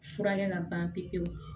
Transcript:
Furakɛ ka ban pewu pewu